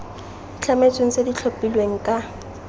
itlhametsweng tse di tlhophilweng ka